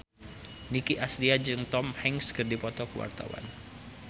Nicky Astria jeung Tom Hanks keur dipoto ku wartawan